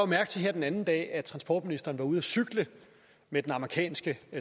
mærke til her den anden dag at transportministeren var ude at cykle med den amerikanske